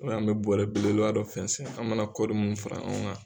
an mɛ bɔɔrɛ belebeleba dɔ fɛnsen an mana kɔɔri mun fara ɲɔn kan.